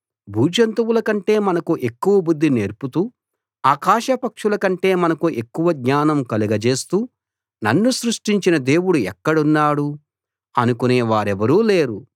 భూజంతువుల కంటే మనకు ఎక్కువగా బుద్ధి నేర్పుతూ ఆకాశపక్షుల కంటే మనకు ఎక్కువ జ్ఞానం కలగజేస్తూ నన్ను సృష్టించిన దేవుడు ఎక్కడున్నాడు అనుకునే వారెవరూ లేరు